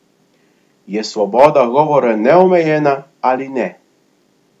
Je svoboda govora neomejena ali ne?